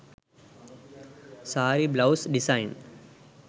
saree blouse design